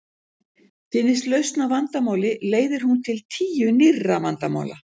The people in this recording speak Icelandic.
Finnist lausn á vandamáli leiðir hún til tíu nýrra vandamála.